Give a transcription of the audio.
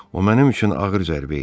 O mənim üçün ağır zərbə idi.